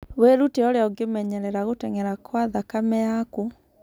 Wĩrute ũrĩa ũngĩmenyerera gũteng'era kwa thakame yaku.